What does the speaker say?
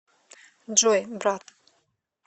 джой брат